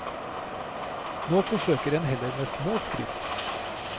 Nå forsøker en heller med små skritt.